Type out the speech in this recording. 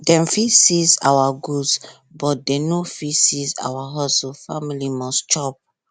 dem fit seize our goods but dem no fit seize our hustle family must chop